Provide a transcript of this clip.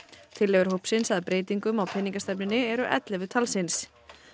tillögur hópsins að breytingum á peningastefnunni eru ellefu talsins